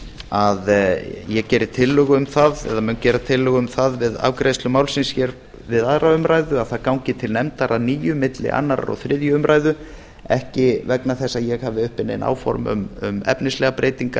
að ég mun gera tillögu um það við afgreiðslu málsins hér við aðra umræðu að það gangi til nefndar að nýju milli annars og þriðju umræðu ekki vegna þess að ég hafi uppi nein áform um efnislegar breytingar